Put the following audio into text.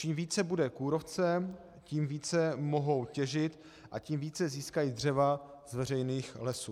Čím více bude kůrovce, tím více mohou těžit a tím více získají dřeva z veřejných lesů.